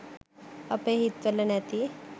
අපේ හිත් වල නැති